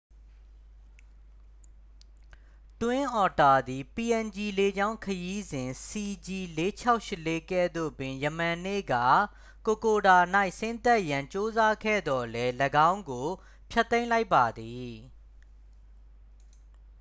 twin otter သည် png လေကြောင်းခရီးစဉ် cg4684 ကဲ့သို့ပင် ယမန်နေ့က kokoda ၌ဆင်းသက်ရန် ကြိုးစားခဲ့သော်လည်း ၎င်းကို ဖျက်သိမ်းလိုက်ပါသည်